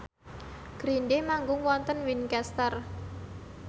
Green Day manggung wonten Winchester